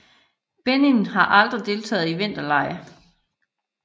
Benin har aldrig deltaget i vinterlege